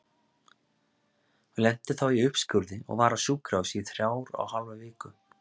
Hún lenti þá í uppskurði og var á sjúkrahúsi í þrjár og hálfa viku.